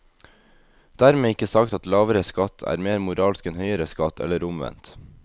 Dermed ikke sagt at lavere skatt er mer moralsk enn høyere skatt, eller omvendt.